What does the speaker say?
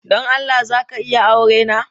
Don Allah za ka iya aurena?